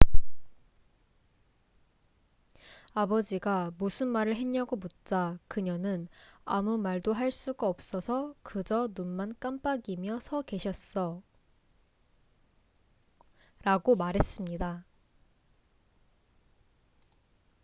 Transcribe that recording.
"아버지가 무슨 말을 했냐고 묻자 그녀는 "아무 말도 할 수가 없어서 그저 눈만 깜빡이며 서 계셨어""라고 말했습니다.